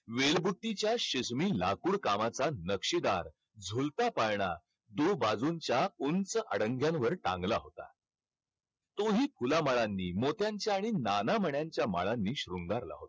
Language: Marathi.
वेलबुट्टीच्या लाकुडकामाचा नक्षीदार, झुलता पाळणा, दोन बाजूंच्या उंच अडंग्यांवर टांगला होता. तोही फुलामाळांनी, मोत्यांच्या आणि नाना मन्यांच्या माळांनी शृंगारला होता.